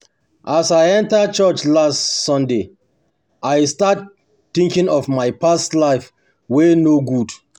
as I enter church last um Sunday, I um start think of my past life wey um no good